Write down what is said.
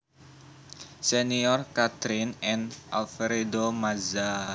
Senior Kathryn and Alfredo Mazza